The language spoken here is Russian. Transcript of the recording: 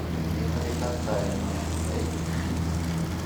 неприкасаемые эйч ди